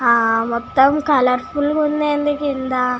హా మోతము colourful గ ఉందెందీ కింద.